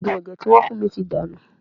Òògùn ẹ̀jẹ̀ tí wọ́n fún mi ti dànù